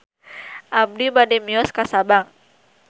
Abi bade mios ka Sabang